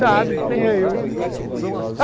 Sabe, quem sou eu.